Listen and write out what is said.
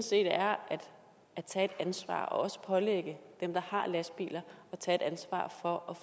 set er at tage ansvar også at pålægge dem der har lastbiler at tage et ansvar for